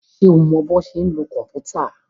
Ṣé o mọ bọ́ ṣe ń lo kòmpútà?